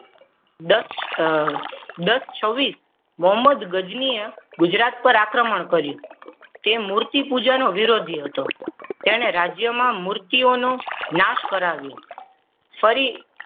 Dutch દસ છવ્વીસ મોહમ્મદ ગજનીએ ગુજરાત પર આક્રમણ કર્યું. તે મૂર્તિ પૂજાનો વિરોધી હતો તેને રાજ્યમાં મૂર્તિઓનો નાશ કરાવ્યો ફરી.